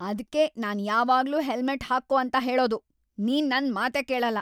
ಅದ್ಕೇ ನಾನ್ ಯಾವಾಗ್ಲೂ ಹೆಲ್ಮೆಟ್ ಹಾಕ್ಕೋ ಅಂತ ಹೇಳೋದು. ನೀನ್‌ ನನ್‌ ಮಾತೇ ಕೇಳಲ್ಲ.